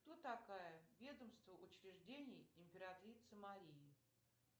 кто такая ведомство учреждений императрицы марии